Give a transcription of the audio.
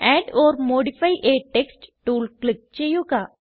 add or modify a text tool click ചെയ്യുക